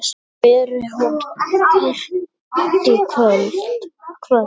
Veri hún kært kvödd.